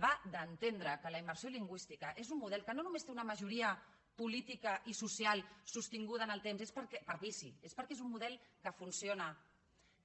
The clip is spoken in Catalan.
va d’entendre que la immersió lingüística és un model que no només té una majoria política i social sostinguda en el temps per vici és perquè és un model que funciona